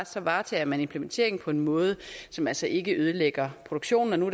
så varetager man implementeringen på en måde som altså ikke ødelægger produktionen og nu